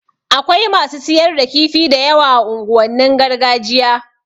Akwai masu siyar da kifi da yawa a unguwannin gargajiya